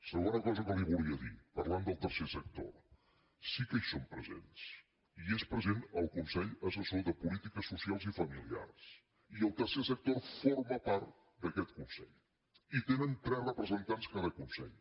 segona cosa que li volia dir parlant del tercer sector sí que hi són presents hi és present el consell assessor de polítiques socials i familiars i el tercer sector forma part d’aquest consell hi tenen tres representants cada consell